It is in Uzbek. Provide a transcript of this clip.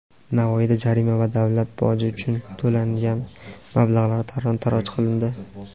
Navoiyda jarima va davlat boji uchun to‘langan mablag‘lar talon-toroj qilindi.